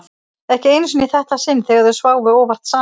Ekki einu sinni í þetta sinn þegar þau sváfu óvart saman.